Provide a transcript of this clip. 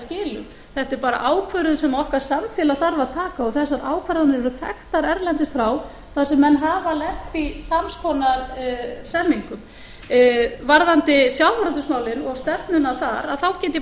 í skilum þetta er bara ákvörðun sem okkar samfélag þarf að taka og þessar ákvarðanir eru þekktar erlendis frá þar sem menn hafa lent í sams konar hremmingum varðandi sjávarútegsmálin og stefnuna þar get ég